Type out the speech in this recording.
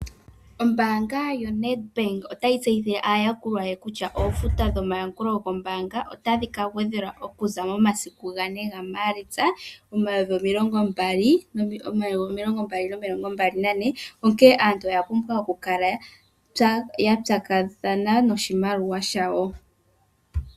Oombanga yoNedbank otayi tseyithile aayakulwa ye kutya oofuto dhomayakulo goombanga otadhi ka gwedhelwa okuza momasiku gabe gaMaalitsa omayovi gaali nomilongo mbali nane onke aantu oya pumbwa okukala ya pyakathana noshimaliwa shawo.